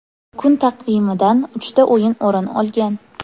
Kun taqvimidan uchta o‘yin o‘rin olgan.